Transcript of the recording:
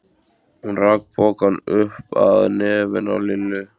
Hún rak pokann upp að nefinu á Lillu.